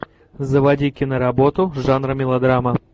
заводи киноработу жанра мелодрама